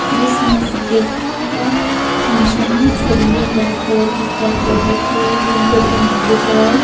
Christmas day का function है। सभी ने रेड कलर की कैप ओढ़ रखी है। ग्रीन कलर का मैट बिछाया है।